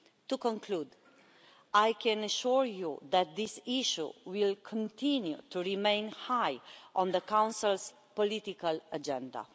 To conclude, I can assure you that this issue will remain high on the Council's political agenda.